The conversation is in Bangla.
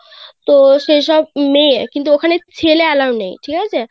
তো সেই সব মেয়ে কিন্তু ওখানে ছেলে Allow নেই ঠিক আছে.